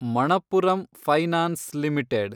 Manappuram finance limited